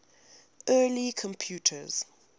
early computers